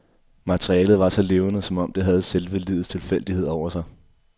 Materialet var så levende, som om det havde selve livets tilfældighed over sig.